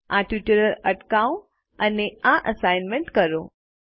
આ ટ્યુટોરીયલ અટકાવો અને આ અસાઇનમેન્ટ કરો